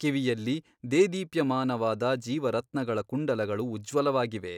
ಕಿವಿಯಲ್ಲಿ ದೇದೀಪ್ಯಮಾನವದ ಜೀವರತ್ನಗಳ ಕುಂಡಲಗಳು ಉಜ್ವಲವಾಗಿವೆ.